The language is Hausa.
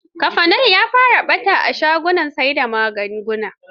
Cafenol ya fara ɓata a shagunan sai da magunguna.